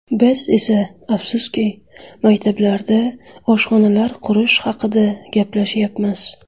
Biz esa, afsuski, maktablarda oshxonalar qurish haqida gaplashyapmiz.